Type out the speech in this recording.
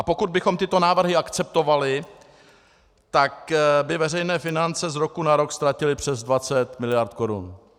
A pokud bychom tyto návrhy akceptovali, tak by veřejné finance z roku na rok ztratily přes 20 mld. korun.